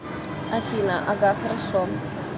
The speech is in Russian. афина ага хорошо